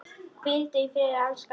Hvíldu í friði, elsku Ragga.